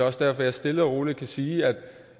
også derfor jeg stille og roligt kan sige at